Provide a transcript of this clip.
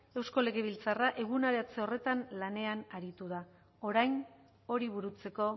eusko legebiltzarra eguneratze horretan lanean aritu da orain hori burutzeko